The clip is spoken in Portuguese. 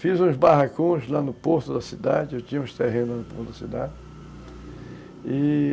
Fiz uns barracões lá no porto da cidade, eu tinha uns terrenos lá no porto da cidade, e